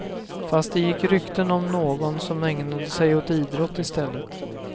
Fast det gick rykten om någon som ägnade sig åt idrott i stället.